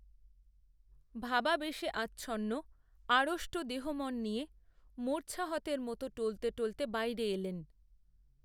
ভাবাবেশে আচ্ছন্ন আড়ষ্ট দেহমন নিয়ে, মূর্ছাহতের মতো টলতে টলতে বাইরে এলেন